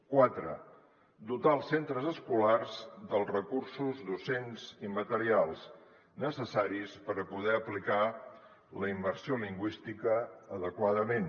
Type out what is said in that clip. quatre dotar els centres escolars dels recursos docents i materials necessaris per poder aplicar la immersió lingüística adequadament